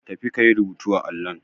Tafi ka yi rubutu a allon.